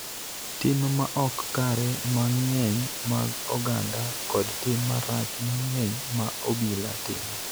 tim ma ok kare mang�eny mag oganda kod tim marach mang�eny ma obila timo,